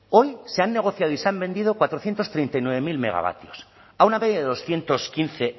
hoy se han negociado y se han vendido cuatrocientos treinta y nueve mil megavatios a una media de doscientos quince